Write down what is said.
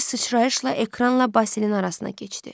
Bir sıçrayışla ekranla Basilin arasına keçdi.